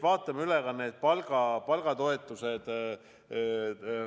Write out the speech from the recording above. Vaatame üle ka palgatoetused.